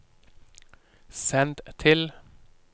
send til